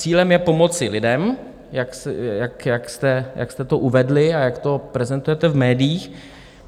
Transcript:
Cílem je pomoci lidem, jak jste to uvedli a jak to prezentujete v médiích.